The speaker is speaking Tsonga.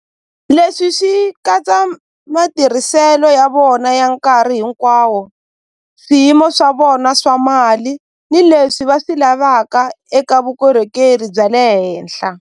Leswi swi katsa matirhiselo ya vona ya nkarhi hinkwawo swiyimo swa vona swa mali ni leswi va swi lavaka eka vukorhokeri bya le henhla.